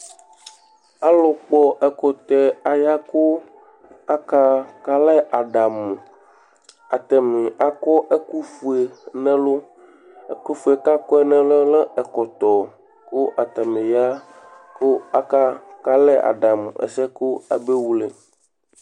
Ɔlu kpɔ ɛkutɛ aya kʋ aka kalɛ aɖamu Ataŋi akɔ ɛku fʋe ŋu ɛlu Ɛku fʋe kʋ akɔ ŋu ɛluɛ lɛ ɛkɔtɔ kʋ ataŋi ya aka kalɛ aɖamu ɛsɛ bʋakʋ abewle